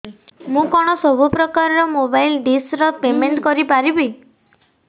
ମୁ କଣ ସବୁ ପ୍ରକାର ର ମୋବାଇଲ୍ ଡିସ୍ ର ପେମେଣ୍ଟ କରି ପାରିବି